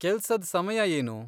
ಕೆಲ್ಸದ್ ಸಮಯ ಏನು?